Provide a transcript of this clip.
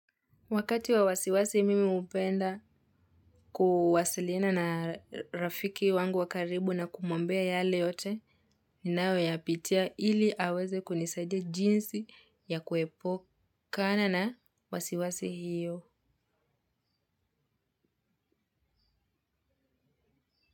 Wakati wa wasiwasi mimi upenda kuwasiliana na rafiki wangu wa karibu na kumwambia yale yote, ninayo ya pitia ili aweze kunisaidia jinsi ya kuepu kana na wasiwasi hiyo.